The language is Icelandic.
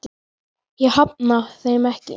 Ég hafna þeim ekki.